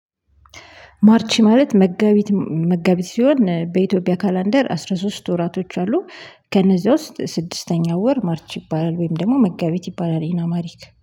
ማርች ማለት መጋቢት መጋቢት ሲሆን በኢትዮጵያ ካላንደር አስራ ሶስት ወራቶች አሉ። ከነዚህ ውስጥ ስድስተኛው ወር ማርች ይባላል ወይም ደግሞ መጋቢት ይባላል ኢን አምሃሪክ